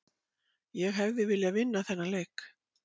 Ég hefði viljað vinna þennan leik